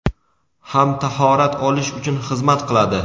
ham tahorat olish uchun xizmat qiladi.